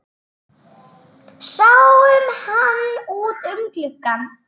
Sáum hann út um glugga.